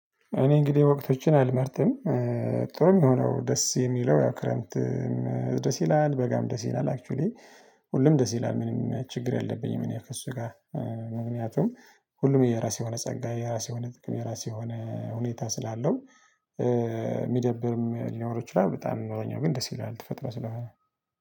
እኔ እንግዲህ ወቅቶችን አልመረጥም። ጥሩም ሆነው ደስ የሚለው ያው ክረምት። ደስ ይላል በጋም ደስ ይላል አክችዋሊ። ሁሉም ደስ ይላል ምንም ችግር የለብኝም እኔ ከእሱ ጋ። ምክንያቱም ሁሉም የራሱ የሆነ ጸጋ የራሱ የሆነ ጥቅም የራሴ የሆነ ሁኔታ ስላለው። ሚደብርም ሊኖረው ይችላል በጣም ቢኖረኛው ግን ደስ ይላል ተፈጥሮ ስለሆነ።